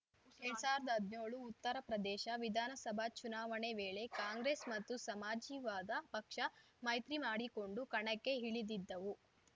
ಎರ್ಡ್ ಸಾವಿರ್ದಾ ಹದ್ನ್ಯೋಳು ಉತ್ತರಪ್ರದೇಶ ವಿಧಾನಸಭಾ ಚುನಾವಣೆ ವೇಳೆ ಕಾಂಗ್ರೆಸ್‌ ಮತ್ತು ಸಮಾಜಿವಾದ ಪಕ್ಷ ಮೈತ್ರಿಮಾಡಿಕೊಂಡು ಕಣಕ್ಕೆ ಇಳಿದಿದ್ದವು